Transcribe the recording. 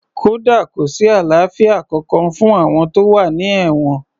Kódà kò sí àlàáfíà kankan fún àwọn tó wà ní èwọ̀n